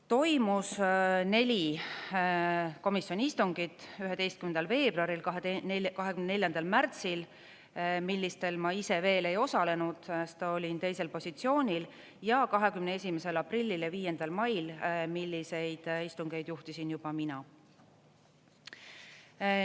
Toimus neli komisjoni istungit: 11. veebruaril, 24. märtsil – millistel ma ise veel ei osalenud, sest olin teisel positsioonil – ja 21. aprillil ja 5 mail, milliseid istungeid juhtisin juba mina.